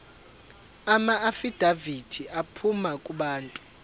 amaafidavithi aphuma kubantu